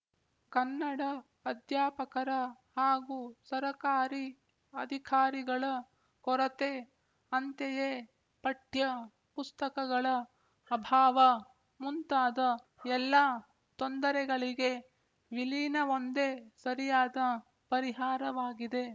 ಕನ್ನಡ ಅಧ್ಯಾಪಕರ ಹಾಗೂ ಸರಕಾರೀ ಅಧಿಕಾರಿಗಳ ಕೊರತೆ ಅಂತೆಯೇ ಪಠ್ಯ ಪುಸ್ತಕಗಳ ಅಭಾವ ಮುಂತಾದ ಎಲ್ಲ ತೊಂದರೆಗಳಿಗೆ ವಿಲೀನವೊಂದೇ ಸರಿಯಾದ ಪರಿಹಾರವಾಗಿದೆ